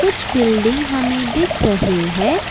कुछ बिल्डिंग हमें दिख रहे हैं।